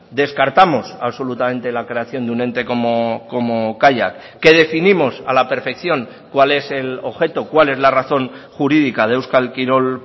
descartamos absolutamente la creación de un ente como kaiak que definimos a la perfección cuál es el objeto cuál es la razón jurídica de euskal kirol